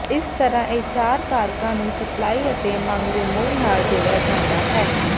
ਇਸ ਤਰ੍ਹਾਂ ਇਹ ਚਾਰ ਕਾਰਕਾਂ ਨੂੰ ਸਪਲਾਈ ਅਤੇ ਮੰਗ ਦੇ ਮੂਲ ਨਾਲ ਜੋੜਿਆ ਜਾਂਦਾ ਹੈ